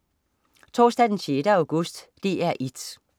Onsdag den 6. august - DR 1: